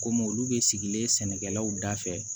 Komi olu bɛ sigilen sɛnɛkɛlaw da fɛ